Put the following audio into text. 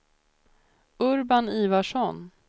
Urban Ivarsson